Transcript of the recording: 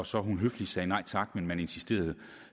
så høfligt sagde nej tak men man insisterede